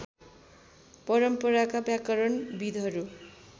परम्पराका व्याकरण विद्हरू